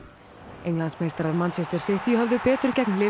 Englandsmeistarar City höfðu betur gegn